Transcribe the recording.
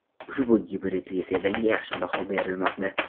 Ushbu gibridli sedanga yaxshi baho berilmoqda.